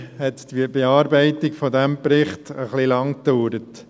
Leider dauerte die Bearbeitung des Berichts ein bisschen lange.